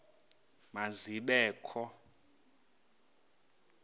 ma zibe kho